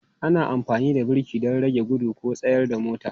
Ana amfani da birki don rage gudu ko tsayar da motar.